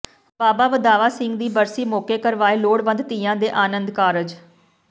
ਬਾਬਾ ਵਧਾਵਾ ਸਿੰਘ ਦੀ ਬਰਸੀ ਮੌਕੇ ਕਰਵਾਏ ਲੋੜਵੰਦ ਧੀਆਂ ਦੇ ਆਨੰਦ ਕਾਰਜ